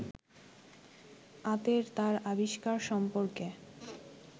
আতের তার আবিষ্কার সম্পর্কে